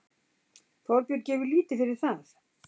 Þorbjörn gefur lítið fyrir það.